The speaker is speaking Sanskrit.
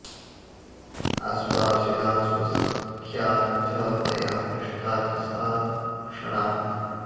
आश्वासिता स्वसख्या च तया पृष्टा च सा क्षणात्